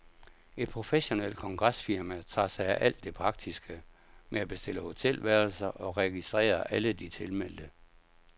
Et professionelt kongresfirma tager sig af alt det praktiske med at bestille hotelværelser og registrere alle de tilmeldte.